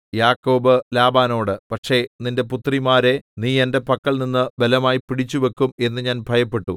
യാക്കോബ് ലാബാനോട് പക്ഷേ നിന്റെ പുത്രിമാരെ നീ എന്റെ പക്കൽനിന്ന് ബലമായി പിടിച്ചുവയ്ക്കും എന്നു ഞാൻ ഭയപ്പെട്ടു